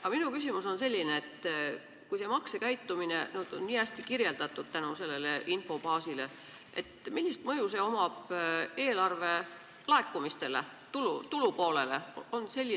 Aga minu küsimus on selline: kui see maksekäitumine on nii hästi kirjeldatud tänu sellele infobaasile, siis milline mõju on sellel eelarvelaekumistele, tulupoolele?